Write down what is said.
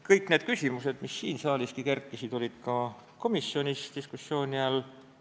Kõik need küsimused, mis siin saaliski tekkisid, olid ka komisjonis diskussiooni all.